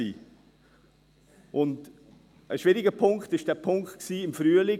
Ein schwieriger Punkt war der Punkt im Frühling.